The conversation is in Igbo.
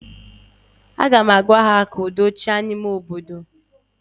Aga m agwa ha, ka udo chịa n'ime obodo ụnụ ozigbo!